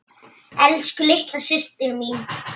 Elsku, litla systir mín.